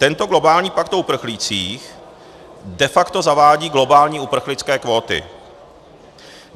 Tento globální pakt o uprchlících de facto zavádí globální uprchlické kvóty.